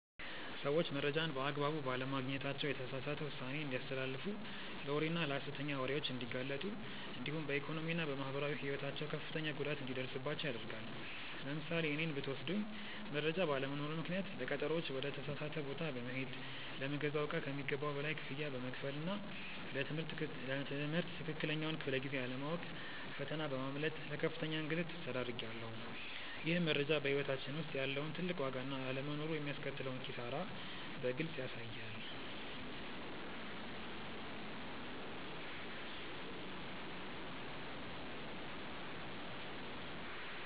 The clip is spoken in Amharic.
ሰዎች መረጃን በአግባቡ ባለማግኘታቸው የተሳሳተ ውሳኔ እንዲያስተላልፉ ለወሬና ለሐሰተኛ ወሬዎች እንዲጋለጡ እንዲሁም በኢኮኖሚና በማህበራዊ ሕይወታቸው ከፍተኛ ጉዳት እንዲደርስባቸው ያደርጋል። ለምሳሌ እኔን ብትወስዱኝ መረጃ ባለመኖሩ ምክንያት ለቀጠሮዎች ወደ ተሳሳተ ቦታ በመሄድ፣ ለምገዛው እቃ ከሚገባው በላይ ክፍያ በመክፈልና ለ ትምህርት ትክክለኛውን ክፍለ-ጊዜ አለማወቅ ፈተና በማምለጥ ለከፍተኛ እንግልት ተዳርጌያለሁ። ይህም መረጃ በሕይወታችን ውስጥ ያለውን ትልቅ ዋጋና አለመኖሩ የሚያስከትለውን ኪሳራ በግልጽ ያሳያል።